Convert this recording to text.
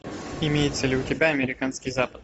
имеется ли у тебя американский запад